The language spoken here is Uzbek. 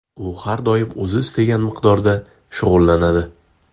U har doim o‘zi istagan miqdorda shug‘ullanadi.